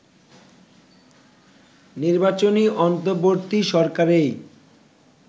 নির্বাচনী অন্তর্বর্তী সরকারেই